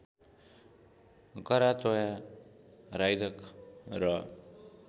करातोया राइदक र